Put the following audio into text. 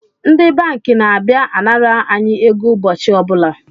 Ndi banki na-abịa anara anyi ego ụbọchị ọbụla